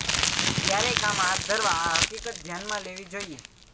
ત્યારે કામ હાથ ધરવા આ હકીકત ધ્યાનમાં લેવી જોઇએ